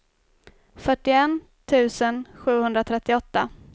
fyrtioett tusen sjuhundratrettioåtta